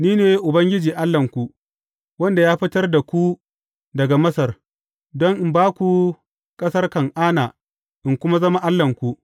Ni ne Ubangiji Allahnku, wanda ya fitar da ku daga Masar, don in ba ku ƙasar Kan’ana in kuma zama Allahnku.